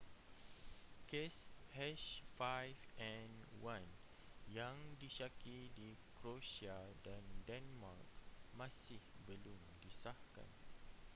kes h5n1 yang disyaki di croatia dan denmark masih belum disahkan